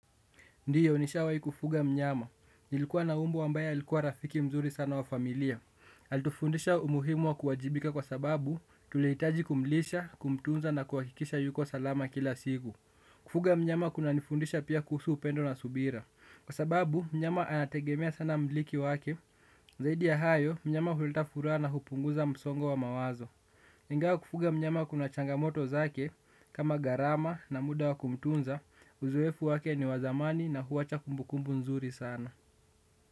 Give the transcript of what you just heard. Ndiyo ni shawai kufuga mnyama, nilikuwa na mbwa ambaye alikuwa rafiki mzuri sana wa familia. Alitufundisha umuhimu wa kuwajibika kwa sababu, tulihitaji kumlisha, kumtunza na kuhakikisha yuko salama kila siku. Kufuga mnyama kuna nifundisha pia kuhusu upendo na subira. Kwa sababu, mnyama anategemea sana mmiliki wake, zaidi ya hayo, mnyama huleta furaha na hupunguza msongo wa mawazo. Ingawa kufuga mnyama kuna changamoto zake, kama gharama na muda wa kumtunza, uzoefu wake ni wazamani na huwacha kumbukumbu nzuri sana.